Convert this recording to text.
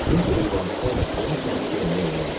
Heç bir vasitə ilə onu sakit eləmək olmazdı.